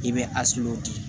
I bɛ di